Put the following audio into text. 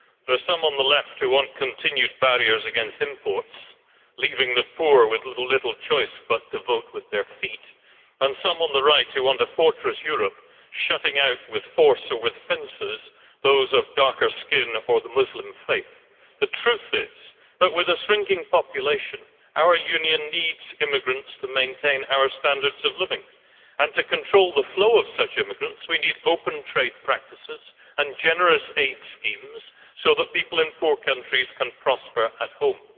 There are some on the left who want continued barriers against imports, leaving the poor with little choice but to vote with their feet, and some on the right who want a fortress Europe, shutting out with force or with fences those of darker skin or the Muslim faith. The truth is that with a shrinking population our Union needs immigrants to maintain our standards of living, and to control the flow of such immigrants we need open trade practices and generous aid schemes so that people in poor countries can prosper at home.